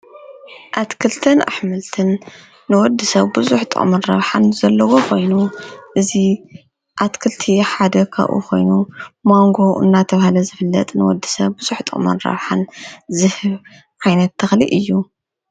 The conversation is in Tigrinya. ኣትክልትን ኣሕምልትን ንወዲ ሰብ ብዙሕ ጥቕምን ረብሓን ዘለዎ ኾይኑ እዚ ኣትክልቲ ሓደ ካብኡ ኾይኑ ማንጎ እናተብሃለ ዝፍለጥ ንወዲ ሰብ ብዙሕ ጥቅምን ራብሓን ዝህብ ዓይነት ተኽሊ እዩ፡፡